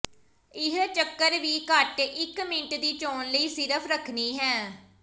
ਇੱਕ ਚੱਕਰ ਵੀ ਘੱਟ ਇੱਕ ਮਿੰਟ ਦੀ ਚੋਣ ਲਈ ਸਿਰਫ਼ ਰੱਖਣੀ ਹੈ